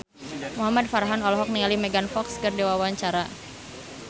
Muhamad Farhan olohok ningali Megan Fox keur diwawancara